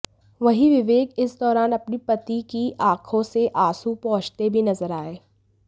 वहीं विवेक इस दौरान अपनी पति की आंखों से आंसू पोछते भी नजर आए